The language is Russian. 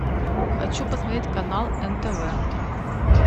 хочу посмотреть канал нтв